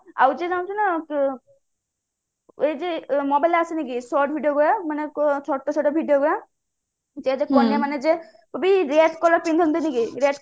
ଆଉ ଯିଏ ଜାଣିଛୁ ନା ଏ ଯେ model ଆସିନି କି short video କରେ ମାନେ ଛୋଟ ଛୋଟ video କରେ କଭି red color ପିନ୍ଧନ୍ତି ଦେଖିଛୁ